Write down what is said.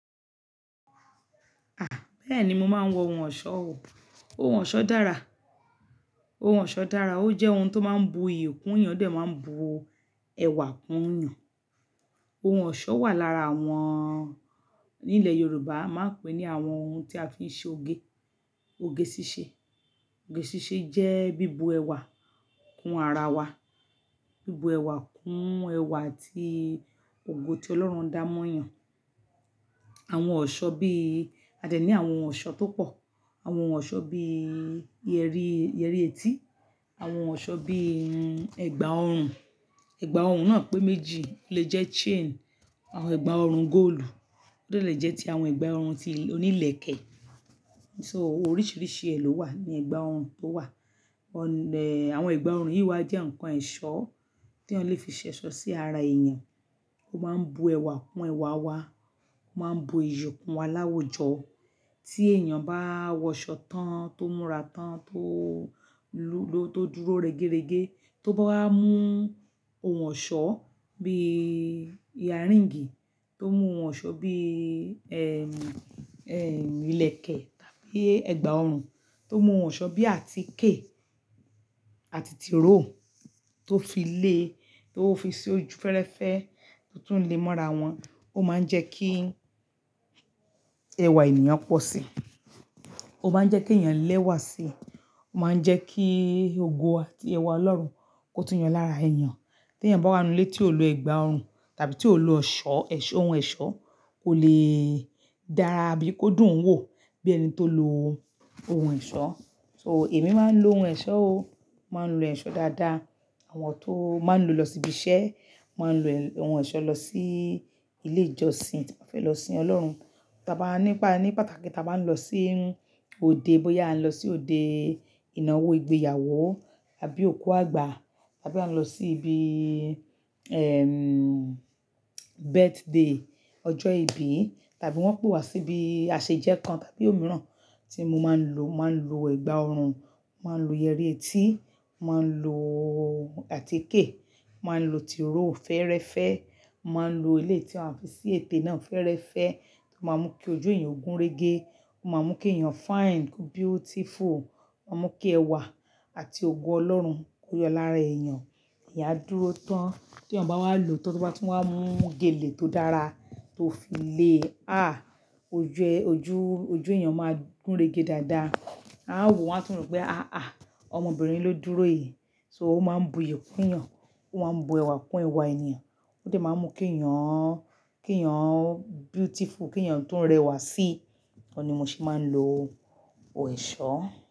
À, bẹ́ẹ̀ni mo máa ń wọ ohun ọ̀ṣọ́ o. Ohun ọ̀ṣọ́ dára. Ohun ọ̀ṣọ́ dára, ó jẹ́ ohun tó máa ń bu iyì kún èèyàn, ó dẹ̀ máa ń bu ẹwà kún èèyàn. Ohun ọ̀ṣọ́ wà lára àwọn ní ilẹ̀ Yorùbá a máa ń pè ní àwọn ohun tí a fi ń ṣe oge. Oge ṣíṣe. Oge ṣíṣe jẹ́ bíbu ẹwà kún ara wa, bíbu ẹwà kún ẹwà àti ògo tí Ọlọ́run dá mọ́ yàn. Àwọn ọ̀ṣọ́ bí i, a dẹ̀ ní àwọn ọ̀ṣọ́ tó pọ̀, àwọn ọ̀ṣọ́ bí yẹrí, yẹrí etí, àwọn ọ̀ṣọ́ bí i ẹ̀gbà ọrùn. Ẹ̀gbà ọrùn náà pé méjì, ó lè jẹ́ chain, àwọn ẹ̀gbà ọrùn góòlù, ó lè jẹ́ ti àwọn ẹ̀gbà ọrùn ti oní ìlẹ̀kẹ̀. So oríṣiríṣi ẹ lòwà ní ẹ̀gbà ọrùn tó wà. Ọ̀n, eh, àwọn ẹ̀gbà ọrùn yìí wà jẹ́ ǹkan ẹ̀ṣọ́ tí eyan lè fi ṣẹ̀ṣọ́ sí ara èèyàn. Ó máa ń bu ẹwà kún ẹwà wa, ó máa ń bu iyì kún wa láwùjọ. Tí èèyàn bá wọ ọ̀ṣọ́ tán tó múra tán tó ló, tó dúró regerege, tó bá mú ohun ọ̀ṣọ́ bí i earring, tó mú ohun ọ̀ṣọ́ bí i, ẹm, ẹm, ìlẹ̀kẹ̀ tàbí ẹ̀gbà ọrùn, tó mú ohun ọ̀ṣọ́ bí i àtíkè àti tìróò tó fi lé, tó fi sí ojú fẹ́rẹ́fẹ́ tó tún le mọ́ra wọn, ó máa ń jẹ́ kí ẹwà èèyàn pọ̀ si. Ó máa ń jẹ́ kí èèyàn lẹ́wà si. Ó máa ń jẹ́ kí ògo àti ẹwà Ọlọ́run kó tún yọ lára èèyàn. Tí èèyàn bá wá nu ilé tí ò lọ ẹ̀gbà ọrùn tàbí tí ò lo ọ̀ṣọ́, ẹṣọ́, ohun ẹ̀ṣọ́ kò lè dára bí kódùn ún wò bí ẹni tó lo ohun ẹ̀ṣọ́. So èmi máa ń lo ohun ẹ̀ṣọ́ o. Màá ń lo ẹ̀ṣọ́ dáadáa. Àwọn tó máa ń lo lọ síbi iṣẹ́, máa ń lo ohun ẹ̀ṣọ́ lọ sí ilé ìjọsìn, bí wọ́n bá fẹ́ lọ sin Ọlọ́run. Tí a bá nípa, ní pàtàkì tí a bá ń lọ sí òde, bóyá a ń lọ sí òde ìnáwó ìgbéyàwó tàbí òkú àgbà tàbí a ń lọ sí ibi, ẹm, birthday, ọjọ́ ìbí tàbí wọ́n pè wá sí ibi àṣejẹ́ kan tàbí òmíràn tí mo máa ń lo, màá ń lo ẹ̀gbà ọrùn, màá ń lo yẹrí etí, màá ń lo àtíkè, màá ń lo tìróò fẹ́rẹ́fẹ́, màá ń lo ilé tí a fi sí ètè náà fẹ́rẹ́fẹ́ tó máa ń mú kí ojú èèyàn gúnrégé, ó máa ń mú kí èèyàn fine, ó kú beautiful, ó máa ń mú kí ẹwà àti ògo Ọlọ́run kó yọ lára èèyàn. Èyàn a dúró tán, tí èèyàn bá wá lo tan tóbá tún wá mú gèlè tó dára tó fi le, à, ojú ẹ, ojú, ojú èèyàn máa gúnrégé dáadáa. A wò ó, a tún rọ̀ pé "àá à, ọmọbìnrin ló dúró yìí." So ó máa ń bu iyì kún èèyàn, ó máa ń bu ẹwà kún ẹwà èèyàn, ó dẹ̀ máa ń mú kí èèyàn, kí èèyàn beautiful, kí èèyàn tún rẹwà si. Ó ni mo sì máa ń lo ohun ẹ̀ṣọ́.